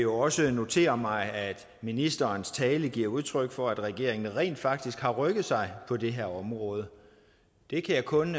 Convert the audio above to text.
også notere mig at ministerens tale giver udtryk for at regeringen rent faktisk har rykket sig på det her område det kan jeg kun